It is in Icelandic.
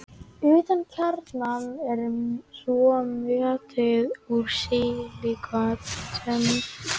utan um kjarnann er svo möttull úr sílíkötum